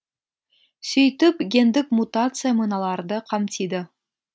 сөйтіп гендік мутация мыналарды қамтиды